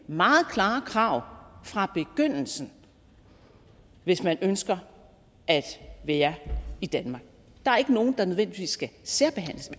meget klare krav fra begyndelsen hvis man ønsker at være i danmark der er ikke nogen der nødvendigvis skal særbehandles